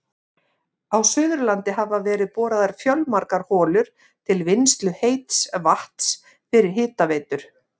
Á Suðurlandi hafa verið boraðar fjölmargar holur til vinnslu heits vatns fyrir hitaveitur.